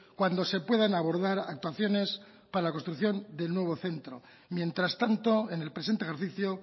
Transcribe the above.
cuando se puedan abordar actuaciones para la construcción del nuevo centro mientras tanto en el presente ejercicio